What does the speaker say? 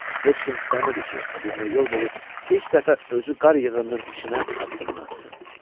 Heç kim istəmirdi ki, o birinə yol verib ilk dəfə özü qar yığınının içinə addımını atsın.